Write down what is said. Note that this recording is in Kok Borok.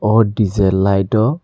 o d j light o.